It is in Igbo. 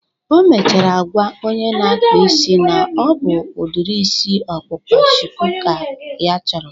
O mechara gwaa onye na-akpa isi na ọ bụ udiri isi ọkpụkpa shuku ka ya chọrọ